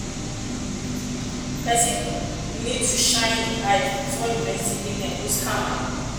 person need to shine eye before investing make dem no scam am